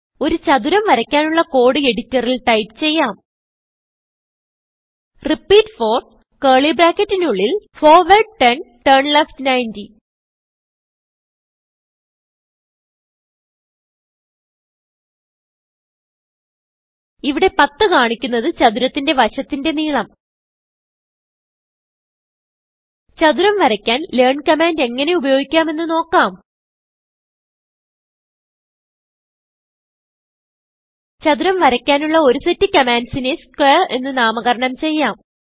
ഒരു ചതുരം വരയ്ക്കുവാനുള്ള കോഡ് എഡിറ്ററിൽ ടൈപ്പ് ചെയ്യാം റിപ്പീറ്റ് 4കർലി bracketനുള്ളിൽ ഫോർവാർഡ് 10 ടർണ്ലെഫ്റ്റ് 90 ഇവിടെ 10 കാണിക്കുന്നത് ചതുരത്തിന്റെ വശത്തിന്റെ നീളം ചതുരം വരയ്ക്കാൻ ലെയർൻ കമാൻഡ് എങ്ങനെ ഉപയോഗിക്കാം എന്ന് നോക്കാം ചതുരം വരയ്ക്കാനുള്ള ഒരു സെറ്റ് കമാൻസിനെ squareഎന്ന് നാമകരണം ചെയ്യാം